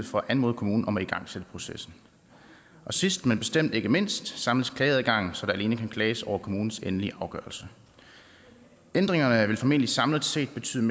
for at anmode kommunen om at igangsætte processen sidst men bestemt ikke mindst samles klageadgangen så der alene kan klages over kommunens endelige afgørelse ændringerne vil formentlig samlet set betyde